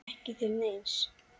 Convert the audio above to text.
Ekki til neins?